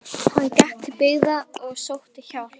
Hann gekk til byggða og sótti hjálp.